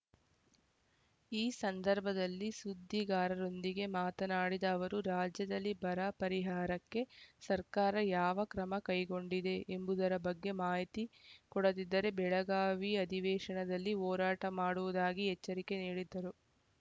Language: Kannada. ಈ ಸಂದರ್ಭದಲ್ಲಿ ಸುದ್ದಿಗಾರರೊಂದಿಗೆ ಮಾತನಾಡಿದ ಅವರು ರಾಜ್ಯದಲ್ಲಿ ಬರ ಪರಿಹಾರಕ್ಕೆ ಸರ್ಕಾರ ಯಾವ ಕ್ರಮ ಕೈಗೊಂಡಿದೆ ಎಂಬುದರ ಬಗ್ಗೆ ಮಾಹಿತಿ ಕೊಡದಿದ್ದರೆ ಬೆಳಗಾವಿ ಅಧಿವೇಶನದಲ್ಲಿ ಹೋರಾಟ ಮಾಡುವುದಾಗಿ ಎಚ್ಚರಿಕೆ ನೀಡಿದರು